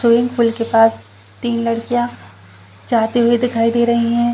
Swimming pool के पास तीन लड़कियाँ जाते हुए दिखाई दे रही हैं।